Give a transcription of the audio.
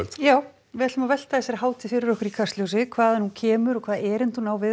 já við ætlum að velta þessari hátíð fyrir okkur hvaðan hún kemur og hvaða erindi hún á við